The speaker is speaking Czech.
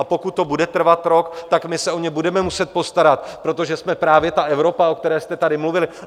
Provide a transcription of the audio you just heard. A pokud to bude trvat rok, tak my se o ně budeme muset postarat, protože jsme právě ta Evropa, o které jste tady mluvili.